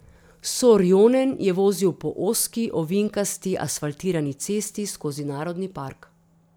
Sorjonen je vozil po ozki, ovinkasti asfaltirani cesti skozi narodni park.